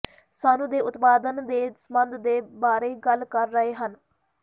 ਸਾਨੂੰ ਦੇ ਉਤਪਾਦਨ ਦੇ ਸਬੰਧ ਦੇ ਬਾਰੇ ਗੱਲ ਕਰ ਰਹੇ ਹਨ